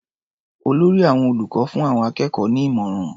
Olórí àwọn olùkọ́ fún àwọn akẹ́kọ̀ọ́ ní ìmọ̀ràn.